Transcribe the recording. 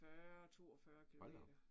40 42 kilometer